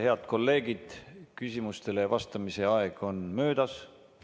Head kolleegid, küsimustele vastamise aeg on möödas.